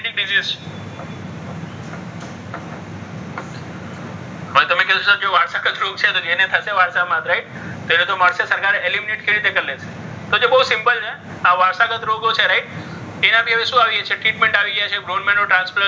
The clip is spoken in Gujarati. હવે તમે તમે કહેશો કે સર વારસાગત જો વારસાગત રોગ છે. તો જેને થશે વારસામાં તેને તો મળશે તો સરકાર એને aluminate કઈ રીતે કરશે. તો જે બહુ simple છે. આ વારસાગત રોગો છે રાઈટ તેનાથી હવે શું આવી ગયું છે. treatment આવી ગઈ છે. જેમ bone marrow transplant છે,